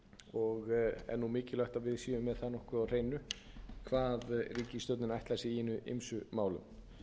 og er mikilvægt að við séum með það nokkuð á hreinu hvað ríkisstjórnin ætlar sér í hinum ýmsu málum